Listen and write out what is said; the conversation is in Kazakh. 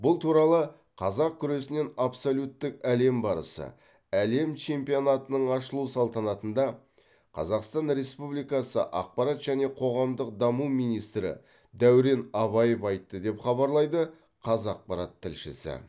бұл туралы қазақ күресінен абсолюттік әлем барысы әлем чемпионатының ашылу салтанатында қазақстан республикасы ақпарат және қоғамдық даму министрі дәурен абаев айтты деп хабарлайды қазақпарат тілшісі